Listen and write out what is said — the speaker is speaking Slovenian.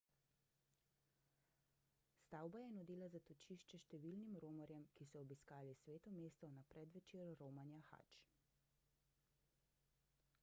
stavba je nudila zatočišče številnim romarjem ki so obiskali sveto mesto na predvečer romanja hadž